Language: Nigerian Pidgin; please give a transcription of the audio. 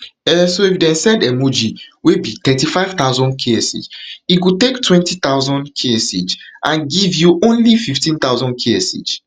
um so if dem send emoji wey be thirty-five thousandksh he go take twenty thousandksh and give you only fifteen thousandksh